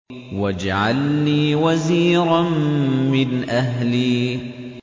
وَاجْعَل لِّي وَزِيرًا مِّنْ أَهْلِي